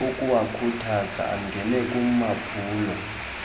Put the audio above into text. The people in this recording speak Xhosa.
ukuwakhuthaza angene kumaphulo